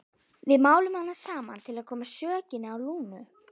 Við máluðum hana saman til að koma sökinni á Lúnu.